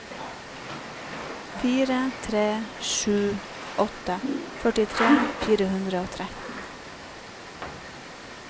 fire tre sju åtte førtitre fire hundre og tretten